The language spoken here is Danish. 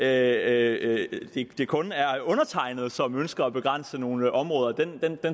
at det kun er undertegnede som ønsker at begrænse nogle områder